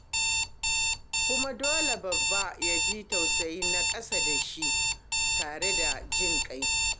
Kuma dole babba ya ji tausayin na ƙasa da shi tare da jin ƙai.